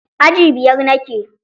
Aji biyar nake.